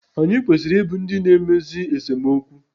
Anyị kwesịrị I bụ ndị na-emezi esemokwu